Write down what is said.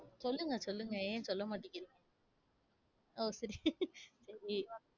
சொல்லுங்க, சொல்லுங்க என் சொல்ல மாட்டிக்கிறீ~ ஓ சிரி~